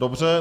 Dobře.